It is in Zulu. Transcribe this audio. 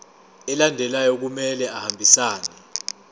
alandelayo kumele ahambisane